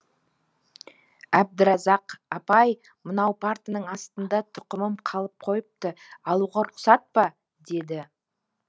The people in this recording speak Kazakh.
әбдіразақ апай мынау партаның астында тұқымым қалып қойыпты алуға рұқсат па деді